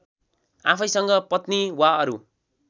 आफैसँग पत्नी वा अरू